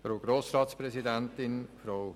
Kommissionssprecher